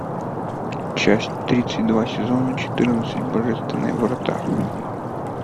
часть тридцать два сезона четырнадцать божественные врата